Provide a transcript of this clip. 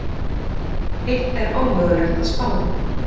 Hitt er ómögulegt að spá um.